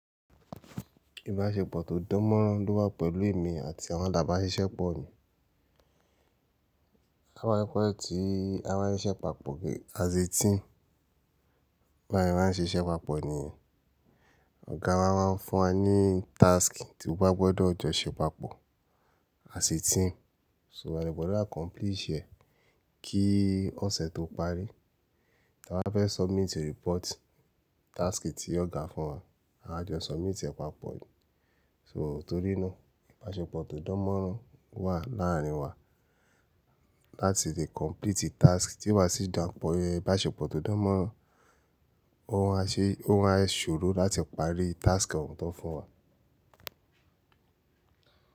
Ìbáṣepọ̀ tó dánmọ́nrán ló wà pẹ̀lú èmi àti àwọn làbà ṣiṣẹ́ pọ̀ mi. A máa ń fẹ́ ti a máa ń ṣe pàpọ̀ gẹ́gẹ́, as a team. Bá a ṣe ma n ṣiṣẹ́ papọ̀ ni, ọ̀gá wa máa ń fún wa ní task tí wa gbọdọ̀ jọ ṣe papọ̀ àsè team. So, a dẹ̀ gbọ́dọ̀ accomplish ẹ̀ kí ọ̀sẹ̀ tó parí, àwa fẹ́ submit report task tí ọ̀gá fún wa, àájọ submit ẹ̀ papọ̀. So torí náà ìbáṣepọ̀ tó dánmọ́nrán ó wà láàárín wa láti lè complete task tí ò bá sí iìdàpọ̀ ẹ. Ìbáṣepọ̀ tó dánmọ́nrán ó máa ṣe, ó máa ṣòro láti parí task ọ̀hún tán fún wa.